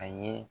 A ye